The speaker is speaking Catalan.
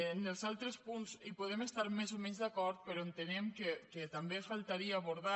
en els altres punts hi podem estar més o menys d’acord però entenem que també faltaria abordar